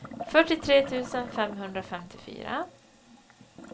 fyrtiotre tusen femhundrafemtiofyra